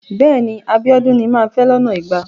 Bẹ́ẹ̀ni. Abíọ́dún ni màá fẹ́ lọ́nà igba.